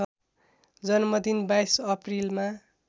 जन्मदिन २२ अप्रिलमा